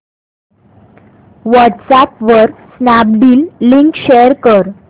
WhatsApp वर Snapdeal link share कर